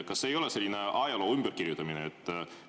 Kas see ei ole selline ajaloo ümberkirjutamine?